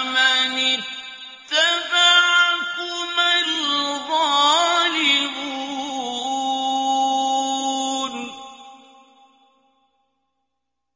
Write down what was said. وَمَنِ اتَّبَعَكُمَا الْغَالِبُونَ